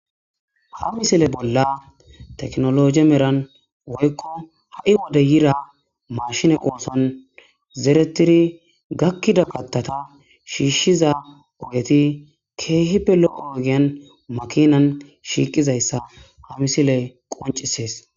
ha misile bolla teknoloje meran woykko ha7i wode yida mashine ooson zeretiri gakkida kattata shiishshiza ogeti keehipelo7oogiyan makinan shiiqizayssa ha misile qoncisees